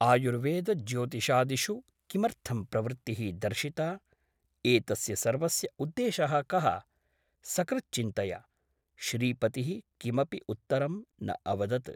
आयुर्वेदज्योतिषादिषु किमर्थं प्रवृत्तिः दर्शिता ? एतस्य सर्वस्य उद्देशः कः ? सकृत् चिन्तय । श्रीपतिः किमपि उत्तरं न अवदत् ।